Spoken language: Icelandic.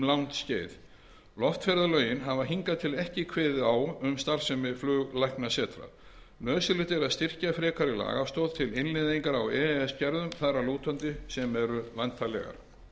langt skeið loftferðalögin hafa hingað til ekki kveðið á um starfsemi fluglæknasetra nauðsynlegt er að styrkja frekari lagastoð til innleiðingar á e e s gerðum þar að lútandi sem eru væntanlegar